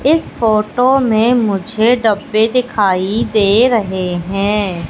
इस फोटो मे मुझे डब्बे दिखाई दे रहे हैं।